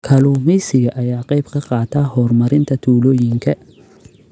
Kalluumeysiga ayaa ka qayb qaata horumarinta tuulooyinka.